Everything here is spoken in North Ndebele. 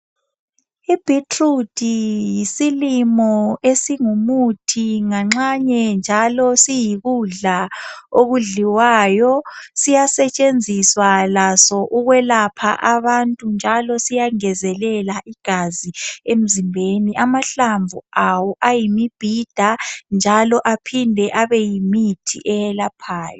Ibetrude yisilimo esingu muthi nganxane njalo siyikudla okudliwayo siyasetshenziswa laso ukuyelapha abantu njalo siyangezelela igazi emzimbeni amahlamvu aso ayimibhida njalo aphinde abeyimithi eyelaphayo